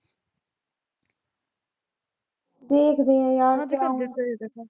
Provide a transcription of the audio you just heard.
ਦੇਖਦੇ ਆਂ ਯਾਰ